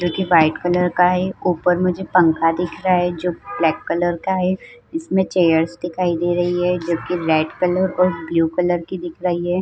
जोकि white colour का है। ऊपर मुझे पंखा दिख रहा है जोकि ब्लैक कलर का है। इसमें चेयर्स दिखाई दे रही है जोकि रेड कलर और ब्लू कलर की दिख रही हैं।